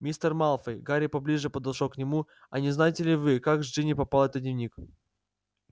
мистер малфой гарри поближе подошёл к нему а не знаете ли вы как к джинни попал этот дневник